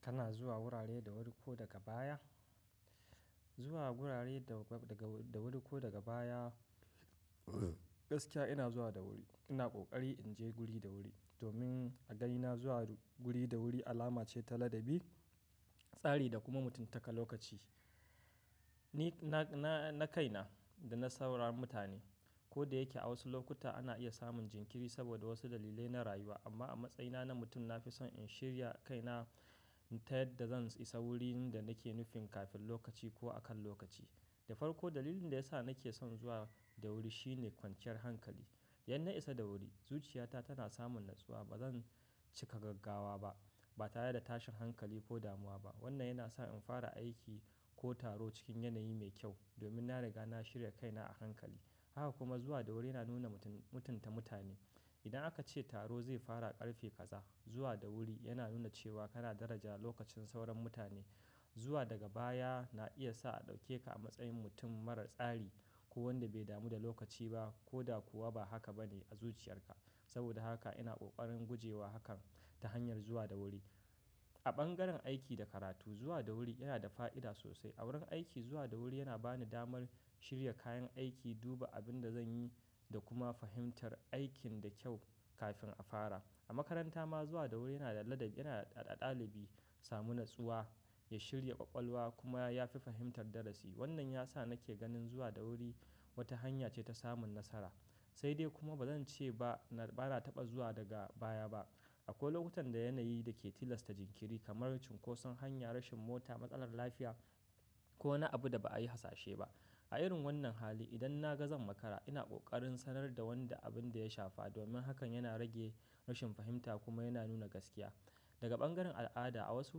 Kana zuwa wurare da wuri ko daga baya? Zuwa wurare daga, da wuri ko daga baya. Gaskiya ina zuwa da wuri. Ina ƙoƙari in je guri da wuri domin a ga ni na zuwa guri da wuri alama ce ta ladabi, tsari da kuma mutuntaka lokaci. Ni, na, na, na kaina da na sauran mutane. Koda yike a wasu lokuta ana iya samun jinkiri saboda wasu dalilai na rayuwa amma a matsayina na mutum na fi son in shirya kaina ta yadda zan isa wurin da nake nufin kafin lokaci ko a kan lokaci. Da farko dalilin da ya sa nake son zuwa da wuri shine kwanciyar hankali. Idan na isa da wuri, zuciyata tana samun natsuwa. Ba zan cika gaggawa ba, ba ta reda tashin hankali ko damuwa ba. Wannan yana sa in fara aiki ko taro cikin yanayi mai kyau domin na riga na shirya kaina a hankali. Haka kuma zuwa da wuri na nuna mutum, mutunta mutane. Idan aka ce taro zai fara a ƙarfe kaza, zuwa da wuri yana nuna cewa kana daraja lokacin sauran mutane. Zuwa daga baya na iya sa a ɗauke ka a matsayin mutum marar tsari ko wanda bai damu da lokaci ba ko da kuwa ba haka ba ne a zuciyarka. Saboda haka ina ƙoƙarin gujewa hakan ta hanyar zuwa da wuri. A bangaren aiki da karatu, zuwa da wuri yana da fa'ida sosai. A wurin aiki, zuwa da wuri yana bani damar shirya kayan aiki, duba abin da zan yi da kuma fahimtar aikin da kyau kafin a fara. A makaranta ma zuwa da wuri yana da ladabi, yana ɗa-ɗaɗa ɗalibi samu natsuwa, ya shirya ƙwaƙwalwa kuma ya fi fahimtar darasi. Wannan ya sa nake ganin zuwa da wuri wata hanya ce ta samun nasara. Sai dai kuma ba zan ce ba na, ba na taɓa zuwa daga baya ba. Akwai lokutan da yanayi da ke tilasta jinkiri kamar cunkoson hanya, rashin mota, matsalar lafiya ko wani abu da ba a yi hasashe ba. A irin wannan hali, idan na ga zan makara, ina ƙoƙarin sanar da wanda abin da ya shafa domin hakan yana rage rashin fahimta kuma yana nuna gaskiya. Daga bangaren al'ada, a wasu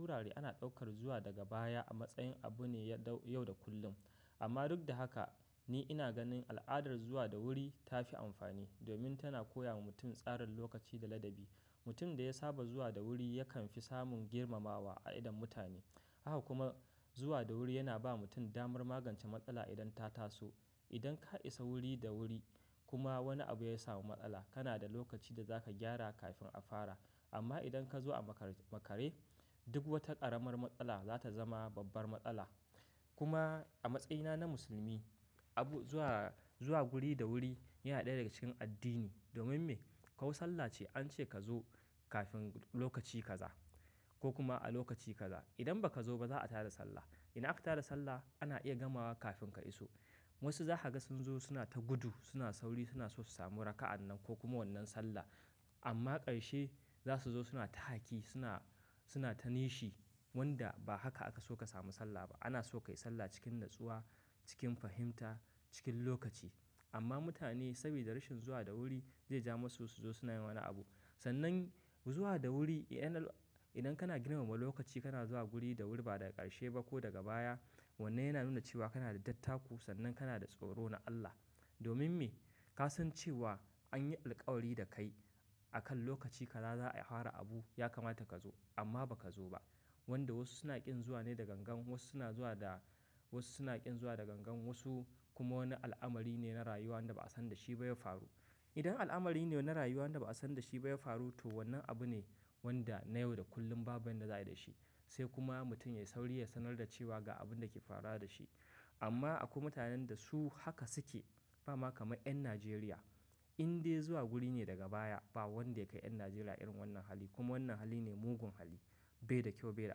wurare ana ɗaukar zuwa daga baya a matsayin abu ne ya dau, yau da kullum. Amma duk da haka, ni ina ganin al'adar zuwa da wuri ta fi amfani domin tana koya wa mutum tsarin lokaci da ladabi. Mutum da ya saba zuwa da wuri yakan fi samun girmamawa a idon mutane. Haka kuma zuwa da wuri yana ba mutum damar magance matsala idan ta taso. Idan ka isa wuri da wuri kuma wani abu ya samu matsala, kana da lokaci da za ka gyara kafin a fara. Amma idan ka zo a makar, makare, duk wata ƙaramar matsala za ta zama babbar matsala. Kuma a matsayina na musulmi, abu, zuwa, zuwa guri da wuri yana ɗaya daga cikin addini. Domin me? Ko sallah ce an ce ka zo kafin lokaci kaza ko kuma a lokaci kaza. Idan ba ka zo ba za a tada sallah. Idan aka tada sallah, ana iya gamawa kafin ka iso. Wasu za ka ga sun zo suna ta gudu, suna sauri, suna so su samu raka'an nan ko kuma wannan sallah. Amma ƙarshe za su zo suna ta haki, suna, suna ta nishi wanda ba haka aka so ka samu sallah ba. Ana so ka yi sallah cikin natsuwa, cikin fahimta, cikin lokaci. Amma mutane saboda rashin zuwa da wuri zai ja masu su zo suna yin wani abu. Sannan zuwa da wuri yana-- idan kana girmama lokaci kana zuwa guri da wuri ba daga ƙarshe ba ko daga baya. Wannan yana nuna cewa kana da dattaku sannan kana da tsoro na Allah. Domin me? Ka san cewa an yi alkawari da kai akan lokaci kaza za a fara abu ya kamata ka zo amma ba ka zo ba. Wanda wasu suna ƙin zuwa ne da gangan, wasu suna zuwa da-- wasu suna ƙin zuwa da gangan wasu kuma wani al'amari ne na rayuwa wanda ba a san da shi ba ya faru. Idan al'amari ne na rayuwa wanda ba a san da shi ba ya faru to wannan abu ne wanda na yau da kullum babu yanda za ya yi da shi. Sai kuma mutum ya yi sauri ya sanar da cewa ga abin da ke faruwa da shi. Amma akwai mutanen da su haka suke. Bama kamar ƴan Najeriya. Inde zuwa guri ne daga baya ba wanda ya kai ƴan Najeriya irin wannan hali. Kuma wannan hali ne mugun hali. Bai da kyau, bai da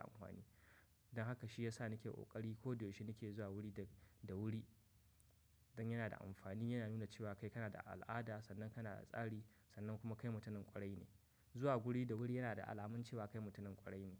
amfani. Don haka shi ya sa nake ƙoƙari ko da yaushe nake zuwa wuri da, da wuri. Don yana da amfani, yana nuna cewa kai kana da al'ada, sannan kana da tsari, sannan kuma kai mutumin ƙwarai ne. Zuwa guri da wuri yana da alamun cewa kai mutumin ƙwarai ne.